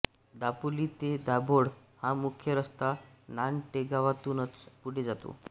दापोली ते दाभोळ हा मुख्य रस्ता नानटेगावातूनच पुढे जातो